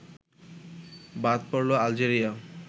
বাদ পড়লো আলজেরিয়া